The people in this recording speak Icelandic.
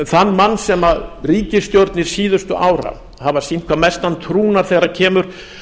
þann mann sem ríkisstjórnir síðustu ára hafa sýnt hvað mestan trúnað þegar kemur